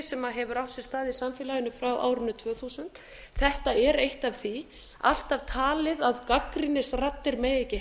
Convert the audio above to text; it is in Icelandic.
sem hefur átt sér stað í samfélaginu frá árinu tvö þúsund þetta er eitt af því alltaf talið að gagnrýnisraddir megi ekki